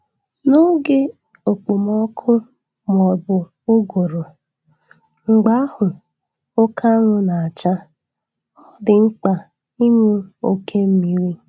N'oge okpomọkụ maọbụ ụgụrụ, mgbe ahụ oke anwụ na-acha, ọ dị mkpa ịṅụ oke mmiri